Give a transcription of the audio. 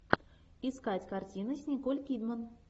искать картины с николь кидман